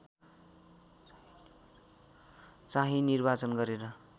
चाहिँ निर्वाचन गरेर